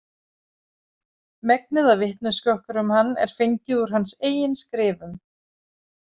Megnið af vitneskju okkar um hann er fengið úr hans eigin skrifum.